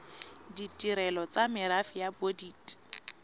ditirelo tsa merafe ya bodit